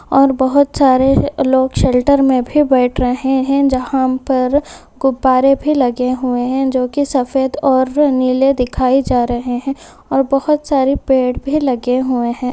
और बहुत सारे लोग शेल्टर में भी बैठ रहे हैं जहां पर गुब्बारे भी लगे हुए हैं जो की सफेद और नीले दिखाए जा रहे है और बहोत सारे पेड़ भी लगे हुए है।